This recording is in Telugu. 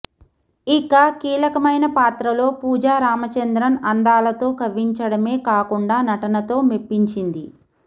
ఇక కీలకమైన పాత్రలో పూజా రామచంద్రన్ అందాలతో కవ్వించడమే కాకుండా నటనతో మెప్పించింది